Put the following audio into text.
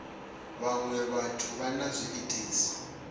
vhaṅwe vhathu vha na zwiitisi